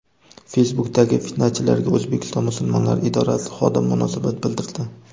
Facebook’dagi fitnachilarga O‘zbekiston musulmonlari idorasi xodimi munosabat bildirdi.